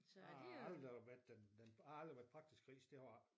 Han har aldrig været den jeg har aldrig været praktisk det har jeg ikke